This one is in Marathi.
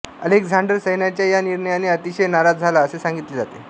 अलेक्झांडर सैन्याच्या या निर्णयाने अतिशय नाराज झाला असे सांगितले जाते